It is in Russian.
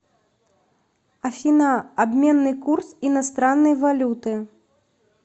афина обменный курс иностранной валюты